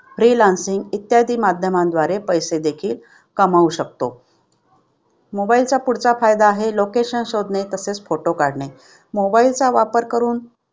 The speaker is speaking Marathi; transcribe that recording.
Free lancing इत्यादी माध्यमांद्वारे पैसे देखील कमावू शकतो. mobile चा पुढचा फायदा आहे location शोधणे तसेच photo काढणे. Mobile चा वापर करून